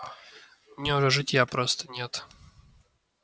мне уже житья просто нет